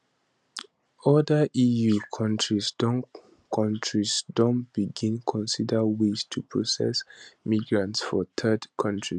oda eu kontris don kontris don begin consider ways to process migrants for third kontris